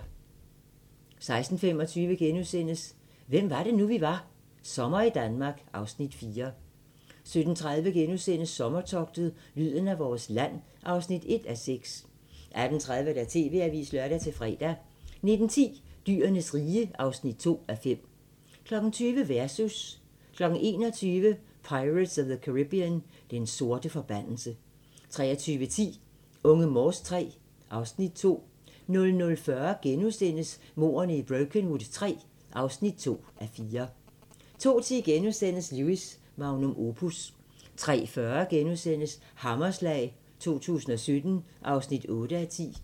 16:25: Hvem var det nu vi var - Sommer i Danmark (Afs. 4)* 17:30: Sommertogtet - lyden af vores land (1:6)* 18:30: TV-avisen (lør-fre) 19:10: Dyrenes rige (2:5) 20:00: Versus 21:00: Pirates of the Caribbean: Den sorte forbandelse 23:10: Unge Morse III (Afs. 2) 00:40: Mordene i Brokenwood III (2:4)* 02:10: Lewis: Magnum opus * 03:40: Hammerslag 2017 (8:10)*